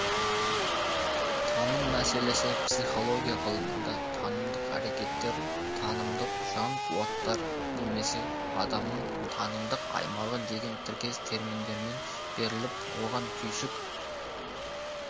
таным мәселесі психология ғылымында танымдық әрекеттер танымдық жан-қуаттар немесе адамның танымдық аймағы деген тіркес терминдермен беріліп оған түйсік